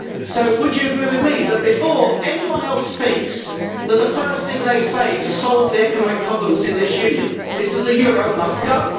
So would you agree with me that, before anyone else speaks, the first thing they say to solve the economic problems in this Union is that the euro must go?